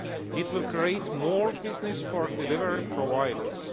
It will create more business for delivery providers.